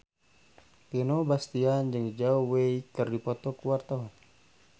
Vino Bastian jeung Zhao Wei keur dipoto ku wartawan